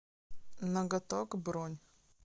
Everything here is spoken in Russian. ноготок бронь